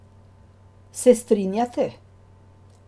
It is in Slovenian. Se strinjate?